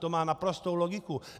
To má naprostou logiku.